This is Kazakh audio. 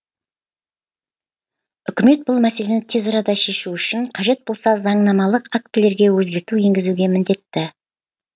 үкімет бұл мәселені тез арада шешу үшін қажет болса заңнамалық актілерге өзгерту енгізуге міндетті